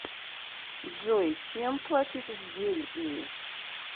джой чем платить в бельгии